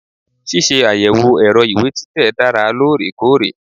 Ṣíṣe àyẹ̀wò ẹ̀rọ ìwé títẹ̀ dára lóòrèkóòrè.